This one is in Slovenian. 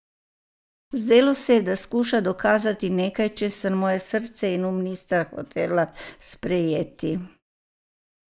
Zdelo se je, da skuša dokazati nekaj, česar moje srce in um nista hotela sprejeti.